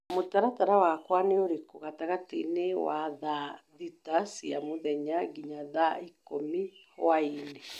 mũtaratara wakwa nĩ ũrĩkũ gatagatĩ wa thaa thita cia mũthenya nginya thaa ikũmi hwaĩinĩ